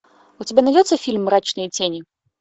у тебя найдется фильм мрачные тени